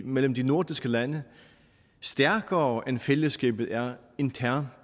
mellem de nordiske lande er stærkere end fællesskabet er internt